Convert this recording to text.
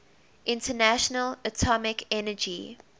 international atomic energy